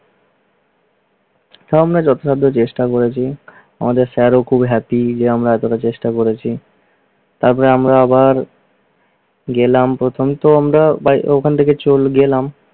হ্যাঁ আমি যথাসাধ্য চেষ্টা করেছি আমাদের স্যারও খুব happy যে আমরা এতটা চেষ্টা করেছি। তারপরে আমরা আবার গেলাম। প্রথমতো আমরা ওখান থেকে চলে গেলাম,